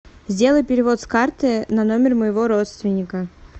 сделай перевод с карты на номер моего родственника